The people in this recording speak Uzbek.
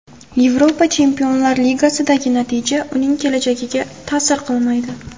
Yevropa Chempionlar Ligasidagi natija uning kelajagiga ta’sir qilmaydi.